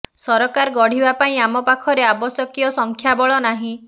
ସରକାର ଗଢିବା ପାଇଁ ଆମ ପାଖରେ ଆବଶ୍ୟକୀୟ ସଂଖ୍ୟା ବଳ ନାହିଁ